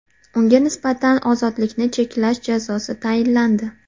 Unga nisbatan ozodlikni cheklash jazosi tayinlandi.